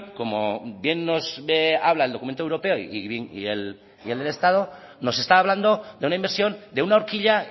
como bien nos habla el documento europeo y el del estado nos está hablando de una inversión de una horquilla